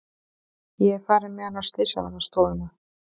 Ég er farin með hann á slysavarðstofuna.